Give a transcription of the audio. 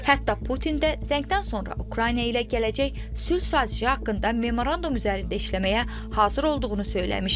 Hətta Putin də zəngdən sonra Ukrayna ilə gələcək sülh sazişi haqqında memorandum üzərində işləməyə hazır olduğunu söyləmişdi.